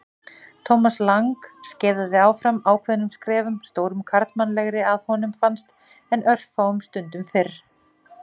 Thomas Lang skeiðaði áfram ákveðnum skrefum, stórum karlmannlegri að honum fannst en örfáum stundum fyrr.